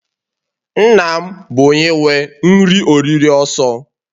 Nna m bu onye nwe nri-oriri oso.